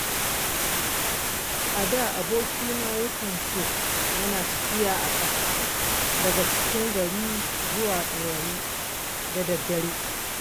A da abokina yakan ce yana tafiya a ƙafa daga cikin gari zuwa Ɗorayi da daddare.